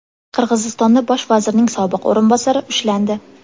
Qirg‘izistonda bosh vazirning sobiq o‘rinbosari ushlandi.